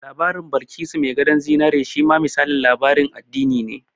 Labarin Balkisu mai gadon zinari shi ma misalin labarin addini ne